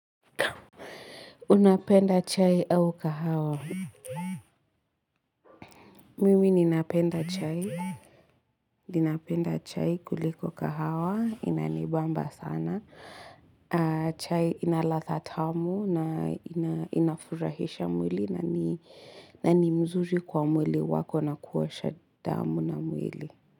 Unapenda chai au kahawa? Mimi ninapenda chai. Ninapenda chai kuliko kahawa, inanibamba sana. Chai inalatha tamu na inafurahisha mwili na ni mzuri kwa mwili wako na kuosha damu na mwili.